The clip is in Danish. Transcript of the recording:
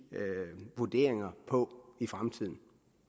vurderinger på i fremtiden